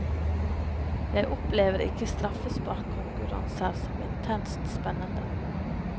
Jeg opplever ikke straffesparkkonkurranser som intenst spennende.